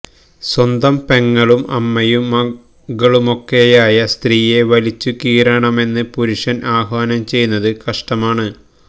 സ്വന്തം പെങ്ങളും അമ്മയും മകളുമൊക്കെയായ സ്ത്രീയെ വലിച്ചു കീറണമെന്ന് പുരുഷന് ആഹ്വാനം ചെയ്യുന്നത് കഷ്ടമാണ്